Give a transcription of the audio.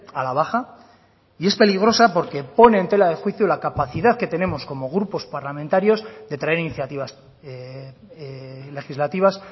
a la baja y es peligrosa porque pone en tela de juicio la capacidad que tenemos como grupos parlamentarios de traer iniciativas legislativas